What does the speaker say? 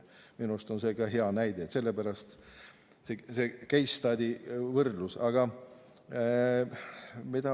Minu arust on see hea näide, sellepärast ka see võrdlus case study'ga.